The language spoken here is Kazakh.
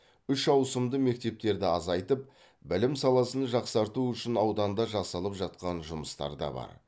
үш ауысымды мектептерді азайтып білім саласын жақсарту үшін ауданда жасалып жатқан жұмыстар да бар